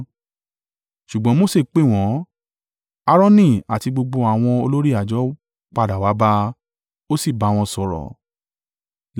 Ṣùgbọ́n Mose pè wọn; Aaroni àti gbogbo àwọn olórí àjọ padà wá bá a, ó sì bá wọn sọ̀rọ̀.